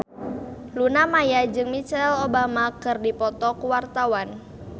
Luna Maya jeung Michelle Obama keur dipoto ku wartawan